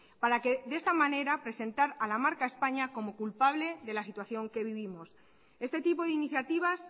para que de esta manera presentar a la marca españa como culpable de la situación que vivimos este tipo de iniciativas